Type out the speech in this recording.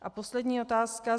A poslední otázka.